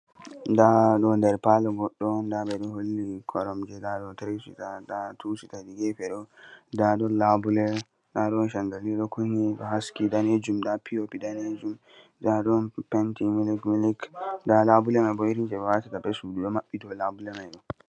Nda ɗo der Palo goɗɗo on da beɗo Holli koromje da ɗo Tiri sita da tu sita hedi gefe ɗo da ɗon labuleda don candali ɗo Kunni da do haski danejum da pi o pi danejum da ɗon penti milik milik da labule mai bo irin je ɓe watata be sudu do baɓɓi Dow labule mai.